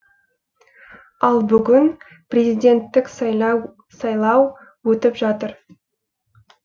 ал бүгін президенттік сайлау өтіп жатыр